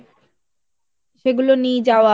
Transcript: সেগুলো নিয়ে যাওয়া